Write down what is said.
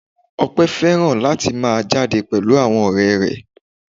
Ope fẹ́ràn láti máa jáde pẹ̀lú àwọn ọ̀rẹ́ rẹ̀.